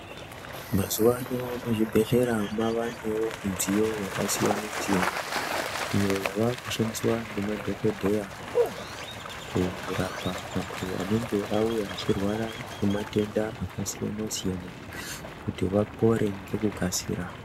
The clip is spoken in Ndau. Mazuwa ano muzvibhedhlera mwavanewo midziyo yakasiyana siyana. Iyo yavakushandiswa ngemadhokodheya kurapa vantu vanenge vauya vachirwara ngematenda akasiyana siyana kuti vapore ngekukasira.